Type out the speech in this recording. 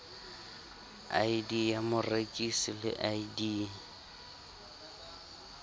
id ya morekisi le id